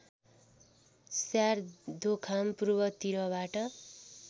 श्यार दोखाम पूर्व तिरबाट